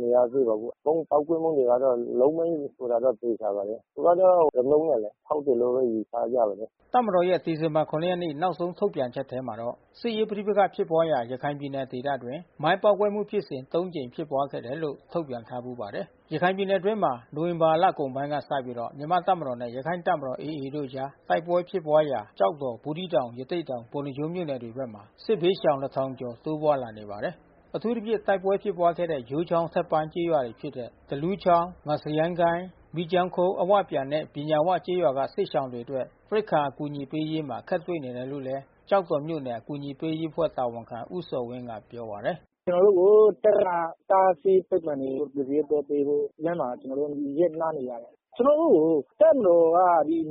မရသေးပါဘူး။ ဗုံးကေ့က်ကွဲမှုတွေကတော့ လုပ်မိုင်းဆိုတာသေချာပါတယ်။ သူကတော့ ရီမုတ်နဲ့ ဖေါက်တယ်လို့ တော့ယူဆရပါတယ်။ ဆွဲမိုင်းမဟုတ်ဘူး။ ကုလားရွာအနားမှာဖြစ်တာပေါ့။” တပ်မတော်ရဲ့ ဒီဇင်ဘာ ရက်နေ့နောက်ဆုံးထုတ်ပြန်ချက်ထဲမှာတော့ စစ်ရေးပဋိပက္ခဖြစ်ပွါးရာ ရခိုင်ပြည်နယ်ဒေသအတွင်း မိုင်းပေါက်ကွဲမှုဖြစ်စဉ် ၃ ကြိမ်ဖြစ်ပွားခဲ့တယ်လို့ထုတ်ပြန်ထားဘူးပါတယ်။ ရခိုင်ပြည်နယ်အတွင်းမှာ နိုဝင်ဘာလကုန်ပိုင်းကစပြီး မြန်မာ့တပ်မတော်နဲ့ ရခိုင်တပ်မတော် AA တို့အကြား တိုက်ပွဲဖြစ်ပွါးရာ ကျောက်တော် ဘူးသီးတောင် ရသေ့တောင် ပုဏ္ဏားကျွန်းမြို့နယ်တွေဘက်မှာ စစ်ဘေးရှောင် ကျော် တိုးပွါးလာ နေ ပါတယ်။ အထူးသဖြင့်တိုက်ပွဲဖြစ်ပွါးခဲ့တဲ့ယိုးချောင်းအထက်ပိုင်းကျေးရွာတွေဖြစ်တဲ့ သလူချောင်း၊ ငါးစရိုင်းကိုင်း၊ မီးကျောင်းခုတ် အဝပြန်နဲ့ ပညာဝကျေးရွာကစစ်ရှောင်တွေအတွက် ရိက္ခာအကူညီပေးရေးမှာအခက်တွေ့နေတယ်လို့ လဲ ကျောက်တော် မြို့နယ် အကူညီပေးရေးအဖွဲ့တာဝန်ခံဦးဇော်ဝင်းကပြောပါတယ်။ “ကျွန်တော်တို့ကိုတပ်ကတားဆီးပိတ်ပင်နေလို့ကယ်ဆယ်ရေးသွားပေးဖို့လမ်းမှာကျွန်တော်တို့ရပ်နားနေရတယ်။ ကျွန်တော် တို့ကို တပ်မတော်က